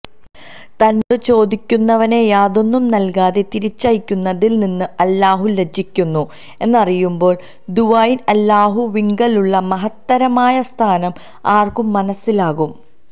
തന്നോട് ചോദിക്കുന്നവനെ യാതൊന്നും നല്കാതെ തിരിച്ചയക്കുന്നതില് നിന്ന് അല്ലാഹു ലജ്ജിക്കുന്നു എന്നറിയുമ്പോള് ദുആഇന് അല്ലാഹുവിങ്കലുള്ള മഹത്തരമായ സ്ഥാനം ആര്ക്കും മനസ്സിലാകും